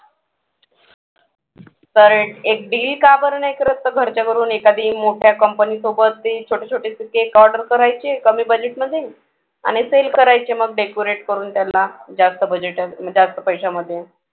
तर एक deal का बरं नाही करत घरच्या घरून एखादी मोठ्या company सोबत ते छोटे छोटेसे cake order करायचे कमी budget मध्ये आणि sell करायचे मग decorate करून त्यांना जास्त budget जास्त पैशामध्ये